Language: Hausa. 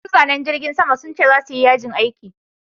Masu zanen jirgin sama sun ce za suyi yajin aiki